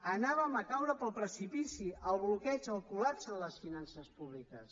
anàvem a caure pel precipici al bloqueig al col·lapse de les finances públiques